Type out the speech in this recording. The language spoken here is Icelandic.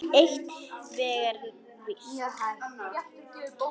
Eitt er hins vegar víst.